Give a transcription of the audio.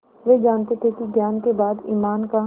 वे जानते थे कि ज्ञान के बाद ईमान का